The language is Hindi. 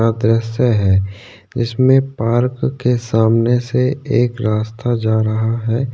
का दृश्य है जिस में पार्क के सामने से एक रास्ता जा रहा है।